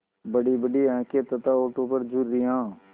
बड़ीबड़ी आँखें तथा होठों पर झुर्रियाँ